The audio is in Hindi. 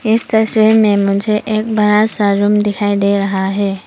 इस तस्वीर में मुझे एक बड़ा सा रूम दिखाई दे रहा है।